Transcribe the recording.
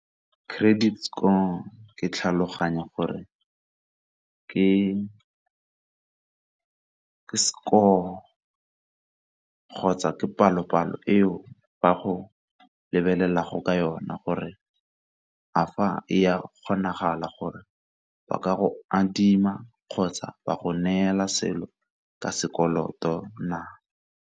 Credit score ke tlhaloganya gore ke score kgotsa ke palo-palo eo ba go lebelelago ka yona gore a fa e a kgonagala gore ba ka go adima kgotsa ba go neela selo ka sekoloto na?